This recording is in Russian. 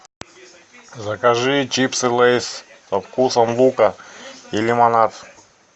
закажи чипсы лейс со вкусом лука и лимонад